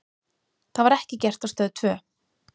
Það var ekki gert á Stöð tvö.